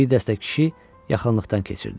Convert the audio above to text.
Bir dəstə kişi yaxınlıqdan keçirdi.